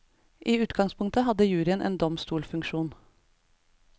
I utgangspunktet hadde juryen en domstolsfunksjon.